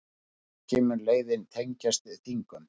Að auki mun leiðin tengjast Þingum